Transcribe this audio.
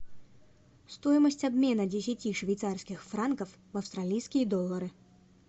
стоимость обмена десяти швейцарских франков в австралийские доллары